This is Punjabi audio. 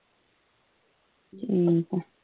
ਠੀਕ ਆ